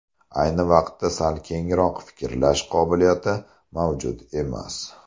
Ayni vaqtda sal kengroq fikrlash qobiliyati mavjud emas.